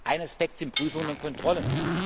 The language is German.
Ein Aspekt sind Prüfungen und Kontrollen.